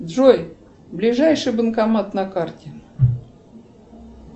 джой ближайший банкомат на карте